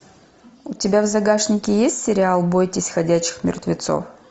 у тебя в загашнике есть сериал бойтесь ходячих мертвецов